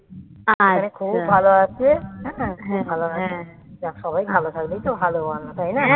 আর এখানে খুব ভালো আছে খুব ভালো আছে সবাই ভালো থাকলেই তো ভালো মানুষ তাই না